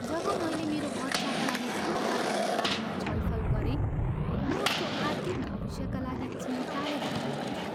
जब मैले मेरो बच्चाका लागि खाता खोल्ने बारेमा छलफल गरेँ, म उसको आर्थिक भविष्यका लागि चिन्ताले भरिएको थिएँ।